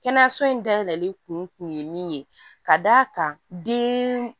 Kɛnɛyaso in dayɛlɛli kun ye min ye ka d'a kan den